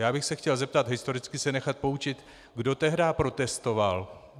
Já bych se chtěl zeptat, historicky se nechat poučit: Kdo tehdá protestoval?